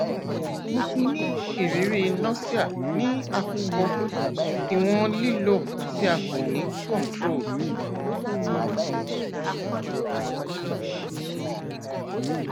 mo ti ni iriri nausea ni akọkọ iwọn lilo ti a ko ni controlled